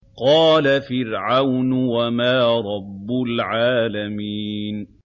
قَالَ فِرْعَوْنُ وَمَا رَبُّ الْعَالَمِينَ